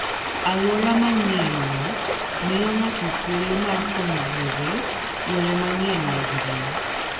Alwora manyienno miyo ng'ato thuolo mar puonjore yore manyien mag ngima.